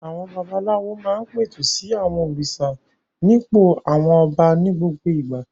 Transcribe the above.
Àwọn babaláwo máa ń pẹ̀tù sí àwọn òrìṣà nípò àwọn ọba ní gbogbo ìgbà.